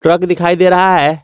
Truck दिखाई दे रहा है।